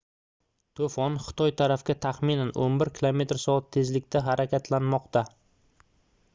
to'fon xitoy tarafga taxminan 11 km/soat tezlikda harakatlanmoqda